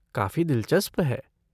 काफ़ी दिलचस्प है।